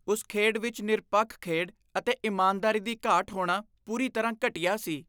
ਉਸ ਖੇਡ ਵਿੱਚ ਨਿਰਪੱਖ ਖੇਡ ਅਤੇ ਇਮਾਨਦਾਰੀ ਦੀ ਘਾਟ ਹੋਣਾ ਪੂਰੀ ਤਰ੍ਹਾਂ ਘਟੀਆ ਸੀ।